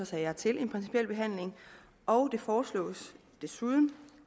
sager til en principiel behandling og det foreslås desuden